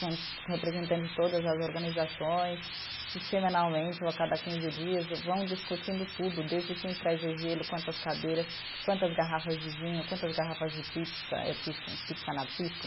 Com representantes de todas as organizações, que semanalmente, ou a cada quinze dias, vão discutindo tudo, desde quem traz o gelo, quantas cadeiras, quantas garrafas de vinho, quantas garrafas de pizza, eh